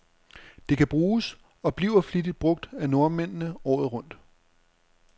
Det kan bruges, og bliver flittigt brug af nordmændene, året rundt.